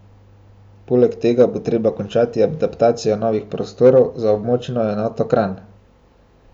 Poleg tega bo treba končati adaptacijo novih prostorov za območno enoto Kranj.